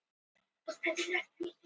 Trúnaðarmál eins og þú veist.